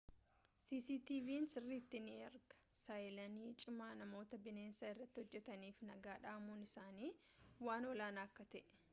cctv'n sirritti ni ergaa saayinalii cimaa namoota bineensa irratti hojjetaniif nagaa dhamuun isaanii waan olaanaa akka ta'ee